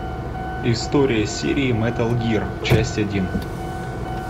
история серии метал гир часть один